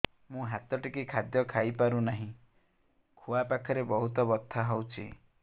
ମୁ ହାତ ଟେକି ଖାଦ୍ୟ ଖାଇପାରୁନାହିଁ ଖୁଆ ପାଖରେ ବହୁତ ବଥା ହଉଚି